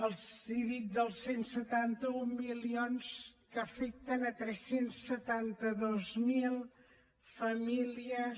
els he dit els cent i setanta un milions que afecten tres cents i setanta dos mil famílies